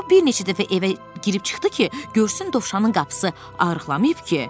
O bir neçə dəfə evə girib çıxdı ki, görsün Dovşanın qapısı ağırlanmayıb ki?